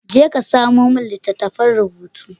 Je ka samamin littattafan rubutu.